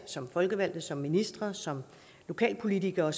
som folkevalgte som ministre som lokalpolitikere